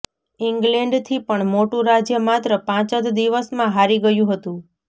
ઇંગ્લૅન્ડથી પણ મોટું રાજ્ય માત્ર પાંચ જ દિવસમાં હારી ગયું હતું